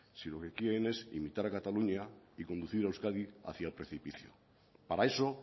si lo que quieren es imitar a cataluña y conducir a euskadi hacia el precipicio para eso